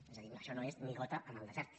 és a dir això no és ni gota en el desert